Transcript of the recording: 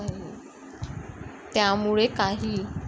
त्यामुळे काही.